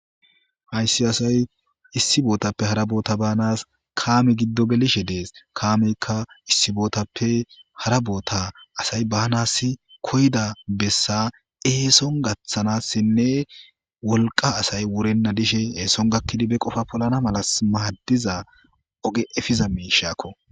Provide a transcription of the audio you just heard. hayssi asay issi bootappe hara boota banas kaame giddo gelishe dees kaamezikka issi bootappe hara boota asay baanas koyda bessa eeson gaththanassinne wolqa asay wurenna dishe eeson gakkidi be qofa polana malas maaddiza oge efiza mi shaakko